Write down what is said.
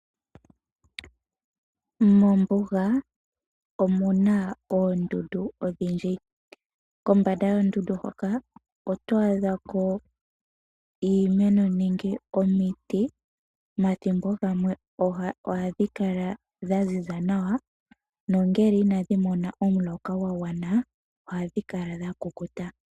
Mombuga omuna oondundu odhindji nokombanda yoondundu hoka oto adha ko iimeno nenge omiti. Omathimbo gamwe ohadhi kala dha ziza nawa nongele inadhi mona omuloka gwa gwana nawa ohadhi kala dha kukuta.